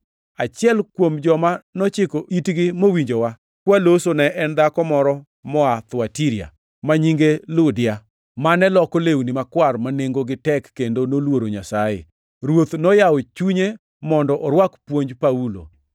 Achiel kuom joma nochiko itgi mowinjowa kwaloso ne en dhako moro moa Thuatira, ma nyinge Ludia, mane loko lewni makwar ma nengogi tek kendo noluoro Nyasaye. Ruoth noyawo chunye mondo orwak puonj Paulo.